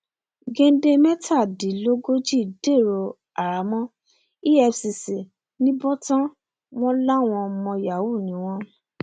gende mẹtàdínlógójì dèrò àhámọ efcc nìbòtán wọn lọmọ yahoo ni wọn